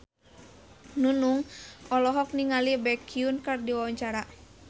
Nunung olohok ningali Baekhyun keur diwawancara